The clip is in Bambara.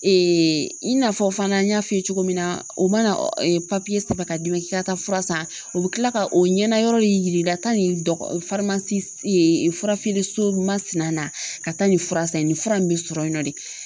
i n'a fɔ fana n y'a f'i ye cogo min na, u mana sɛbɛn ka d'i ma k'i ka taa fura san, u bɛ kila ka o ɲɛnayɔrɔ de yir'i la taa ni fura feere so masina na ka taa nin fura san, nin fura in bɛ sɔrɔ yen nɔ de.